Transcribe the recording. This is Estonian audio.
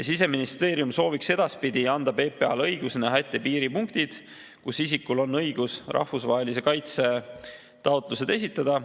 Siseministeerium sooviks edaspidi anda PPA‑le õiguse näha ette piiripunktid, kus isikul on õigus rahvusvahelise kaitse taotlus esitada.